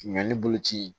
Ɲannibolo ci